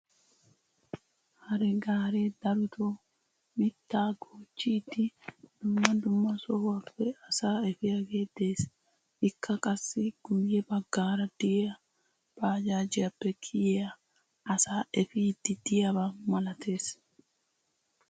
hare gaaree daroto mitaa goochchidi dumma dumma sohuwappe asaa efiyagee des. ikka qassi guye bagaara diya baajajjiyappe kiyiyaa asaa efiidi diyaba malatees.